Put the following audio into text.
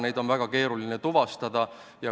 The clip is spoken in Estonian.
Neid on aga väga keeruline tuvastada.